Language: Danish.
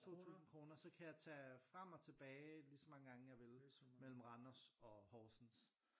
2 tusinde kroner så kan jeg tage frem og tilbage lige så mange gange jeg vil mellem Randers og Horsens